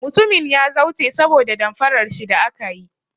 Mutumin ya zauce saboda damfarar shi da aka yi.